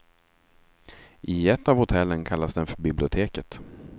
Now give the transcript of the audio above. I ett av hotellen kallas den för biblioteket.